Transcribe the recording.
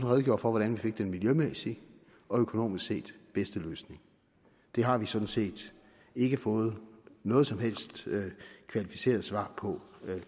redegjorde for hvordan vi fik den miljømæssigt og økonomisk set bedste løsning det har vi sådan set ikke fået noget som helst kvalificeret svar på